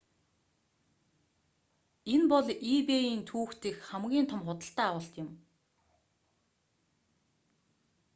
энэ бол ebay-н түүхэн дэх хамгийн том худалдан авалт юм